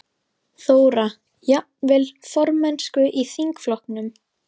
Þóra: Jafnvel formennsku í þingflokknum?